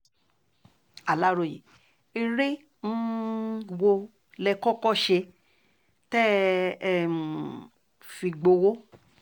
aláròye eré um wo lẹ kọ́kọ́ ṣe tẹ́ um ẹ fi gbowó